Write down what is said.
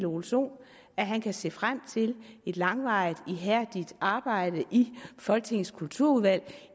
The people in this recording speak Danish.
ole sohn at han kan se frem til et langvarigt og ihærdigt arbejde i folketingets kulturudvalg